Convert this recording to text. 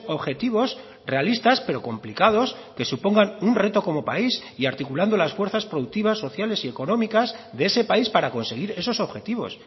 objetivos realistas pero complicados que supongan un reto como país y articulando las fuerzas productivas sociales y económicas de ese país para conseguir esos objetivos